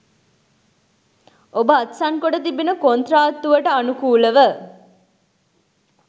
ඔබ අත්සන්කොට තිබෙන කොන්ත්‍රාත්තුවට අනුකූලව